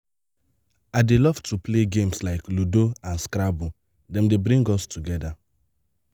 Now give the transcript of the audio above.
i dey love to play games like ludo and scrabble dem dey bring us together.